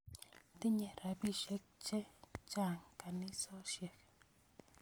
Tinye rapisyek che chang' kanisosyek